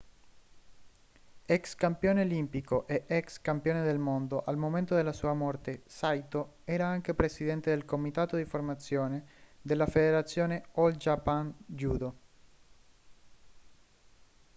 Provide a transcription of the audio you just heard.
ex campione olimpico e ex campione del mondo al momento della sua morte saito era anche presidente del comitato di formazione della federazione all japan judo